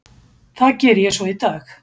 Það geri ég svo í dag.